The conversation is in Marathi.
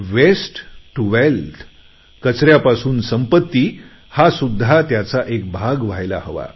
वेस्ट टू वेल्थ कचऱ्यापासून संपती हा सुद्धा त्याचा एक भाग व्हायला हवा